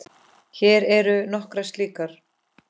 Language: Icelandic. Hér eru nokkrar slíkar